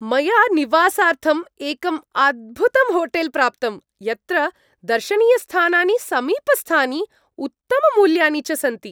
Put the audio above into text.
मया निवासार्थम् एकम् अद्भुतम् होटेल् प्राप्तम् यत्र दर्शनीयस्थानानि समीपस्थानि, उत्तममूल्यानि च सन्ति।